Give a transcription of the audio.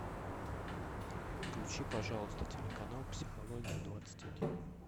включи пожалуйста телеканал психология двадцать один